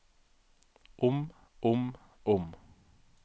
om om om